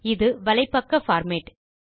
இது வலைப்பக்க பார்மேட்